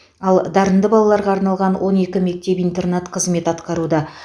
ал дарынды балаларға арналған он екі мектеп интернат қызмет атқаруда